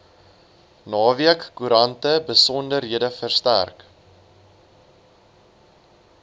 naweekkoerante besonderhede verstrek